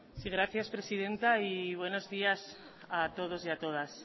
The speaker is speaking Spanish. sí gracias presidenta y buenos días a todos y a todas